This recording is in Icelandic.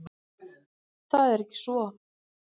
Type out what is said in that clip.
Það er ekki svo.